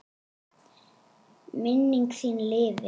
Minning þín lifir.